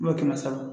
kɛmɛ saba